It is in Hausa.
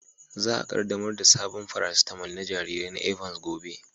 Za a kaddamar da sabon farasitamal na jarirai na Evans gobe.